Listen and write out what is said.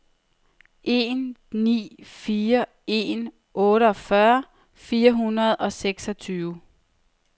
en ni fire en otteogfyrre fire hundrede og seksogtyve